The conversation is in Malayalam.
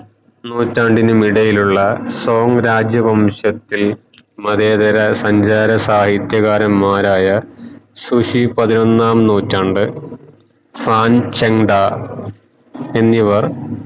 നൂറ്റാണ്ടിനും ഇടയിലുള്ള സൗമ് രാജ്യ വംശത്തിൽ മതേതര സഞ്ചാര സാഹിത്യകാരന്മാർ ആയ സുഷി പതിനൊന്നാം നൂറ്റാണ്ട് എന്നിവർ